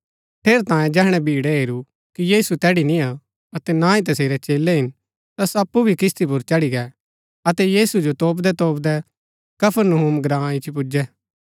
ठेरैतांये जैहणै भीड़ै हेरू कि यीशु तैड़ी निय्आ अतै ना ही तसेरै चेलै हिन ता सो अप्पु भी किस्ती पुर चढ़ी गै अतै यीशु जो तोपदैतोपदै कफरनहूम ग्राँ इच्ची पुजै